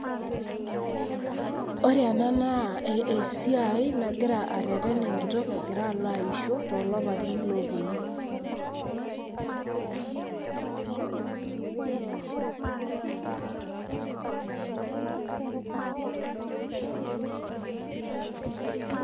Ore ena naa esiai nagira arreren enkitok egira alo aisho too lapaitin ooponu.